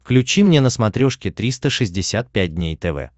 включи мне на смотрешке триста шестьдесят пять дней тв